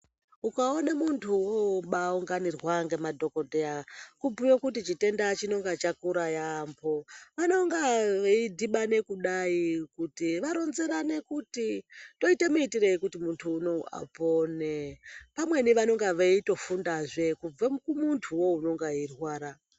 Ukaone muntu wobaunganirwa ngemadhokodheya, kubhuye kuti chitenda chinonga chakura yaampho. Anonga veidhibane kudai, kuti varonzerane kuti toite muitirei kuti muntu unowu apone. Pamweni vanonga veitofundazve kubve kumuntuwo unonga eirwara.